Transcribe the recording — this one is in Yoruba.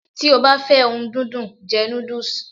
Ti o ba fe ohun dundun, je nudus